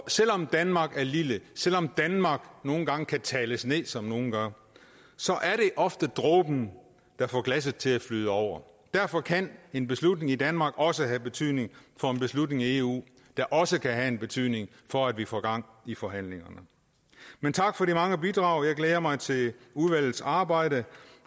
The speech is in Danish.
selv om danmark er lille selv om danmark nogle gange kan tales ned som nogle gør så er det ofte dråben der får glasset til at flyde over derfor kan en beslutning i danmark også have betydning for en beslutning i eu der også kan have en betydning for at vi får gang i forhandlingerne men tak for de mange bidrag jeg glæder mig til udvalgets arbejde